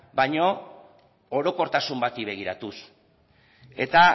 baina orokortasun bati begiratuz eta